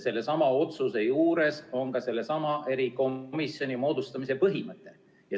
Sellesama otsuse juures on ka sellesama erikomisjoni moodustamise põhimõte.